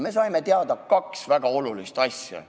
Me saime teada kaks väga olulist asja.